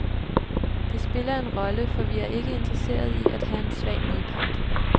Det spiller en rolle, for vi er ikke interesserede i at have en svag modpart.